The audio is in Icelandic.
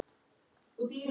Það segir: Ég er mætt!